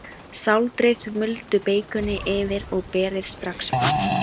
Sáldrið muldu beikoni yfir og berið strax fram.